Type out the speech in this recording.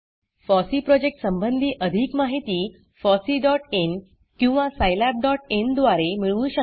FOSSEE project संबंधी अधिक माहिती fosseeइन किंवा scilabइन द्वारे मिळवू शकता